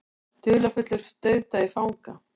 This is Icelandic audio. Dularfullur dauðdagi fanga